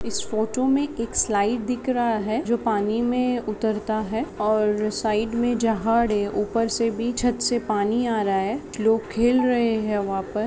इस photo में एक slide दिख रहा है जो पानी मे उतरता है और साइड मे जहाड ऊपर से भी छत से पानी आ रहा है लोग खेल रहे है वहा पर --